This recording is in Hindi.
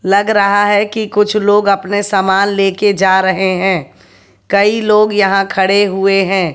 लग रहा है कि कुछ लोग अपने सामान लेकर जा रहे हैं कई लोग यहां खड़े हुए हैं।